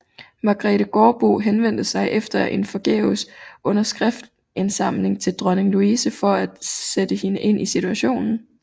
Margrethe Gaardbo henvendte sig efter en forgæves underskriftsindsamling til Dronning Louise for at sætte hende ind i situationen